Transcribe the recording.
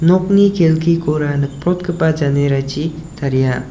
nokni kelkikora nikprotgipa janerachi taria.